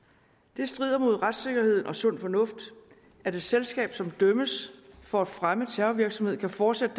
det strider mod retssikkerheden og sund fornuft at et selskab som dømmes for at fremme terrorvirksomhed kan fortsætte